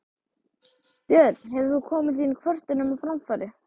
Björn: Hefur þú komið þínum kvörtunum á framfæri?